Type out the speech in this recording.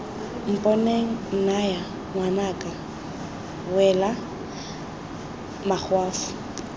mponeng nnyaya ngwanaka wela makgwafo